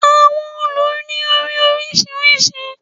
Àwọn òòlù ni ori orisirisi